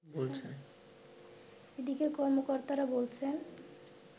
এদিকে কর্মকর্তারা বলছেন